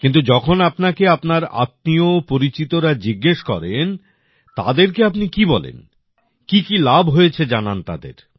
কিন্তু যখন আপনাকে আপনার আত্মীয় পরিচিতরা জিজ্ঞেস করেন তাদেরকে আপনি কি বলেন কি কি লাভ হয়েছে জানান তাদের